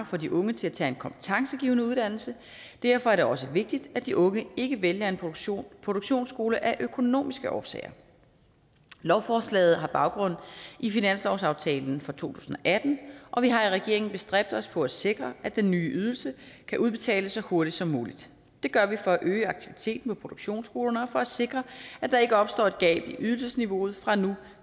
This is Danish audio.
for de unge til at tage en kompetencegivende uddannelse derfor er det også vigtigt at de unge ikke vælger en produktionsskole produktionsskole af økonomiske årsager lovforslaget har baggrund i finanslovsaftalen for to tusind og atten og vi har i regeringen bestræbt os på at sikre at den nye ydelse kan udbetales så hurtigt som muligt det gør vi for at øge aktiviteten på produktionsskolerne og for at sikre at der ikke opstår et gab i ydelsesniveauet fra nu